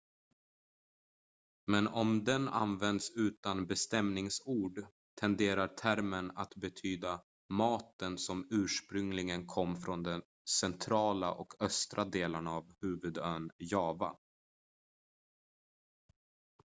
men om den används utan bestämningsord tenderar termen att betyda maten som ursprungligen kom från de centrala och östra delarna av huvudön java